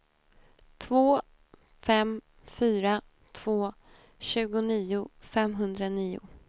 två fem fyra två tjugonio femhundranio